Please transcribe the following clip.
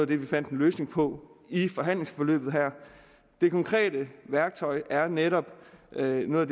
det vi fandt en løsning på i forhandlingsforløbet her det konkrete værktøj er netop noget af